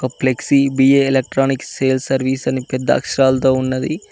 ఒక flexi B A electronic sale service అని పెద్ద అక్షరాలతో ఉన్నది.